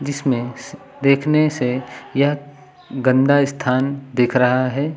इसमें देखने से यह गंदा स्थान दिख रहा है।